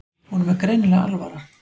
Honum er greinilega alvara.